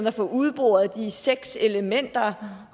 at få udboret de seks elementer